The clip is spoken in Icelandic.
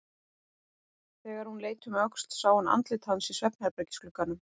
Þegar hún leit um öxl sá hún andlit hans í svefnherbergisglugganum.